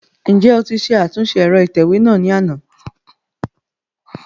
Njẹ o ti ṣe atunṣe ẹrọ itẹwe náa ni ana?